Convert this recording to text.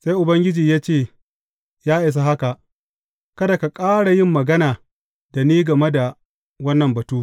Sai Ubangiji ya ce, Ya isa haka, kada ka ƙara yin magana da ni game da wannan batu.